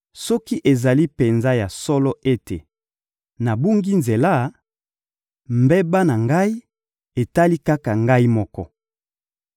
Soki ezali penza ya solo ete nabungi nzela, mbeba na ngai etali kaka ngai moko.